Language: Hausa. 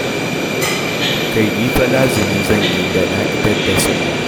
Kai ni fa lazumi zan yi da na idar da sallah.